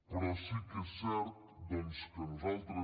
però sí que és cert doncs que nosaltres